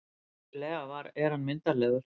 Vissulega er hann myndarlegur.